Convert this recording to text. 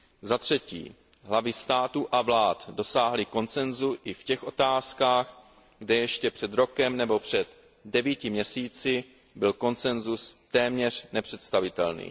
Za třetí, hlavy států a vlád dosáhly konsensu i v těch otázkách, kde ještě před rokem nebo před devíti měsíci byl konsensus téměř nepředstavitelný.